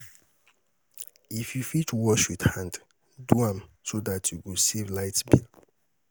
if yu fit wash wit hand, do am so dat yu go save light bill